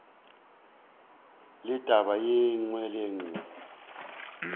le taba ye nngwe le